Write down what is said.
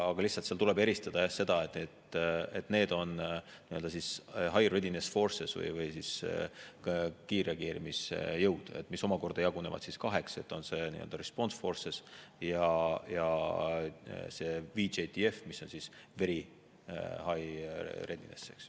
Lihtsalt tuleb eristada seda, et need on High Readiness Forces ehk kiirreageerimisjõud, mis omakorda jagunevad kaheks: on Response Forces ja VJTF, mis on Very High Readiness.